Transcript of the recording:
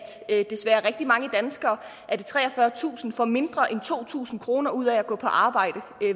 desværre rigtig mange danskere er det treogfyrretusind får mindre end to tusind kroner ud af at gå på arbejde